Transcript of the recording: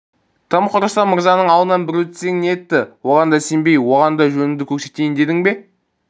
тым құрыса мырзаның алдынан бір өтсең нетті оған да сенбей оған да жоныңды көрсетейін дедің бе